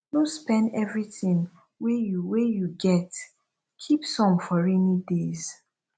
no spend everything wey you wey you get keep some for rainy days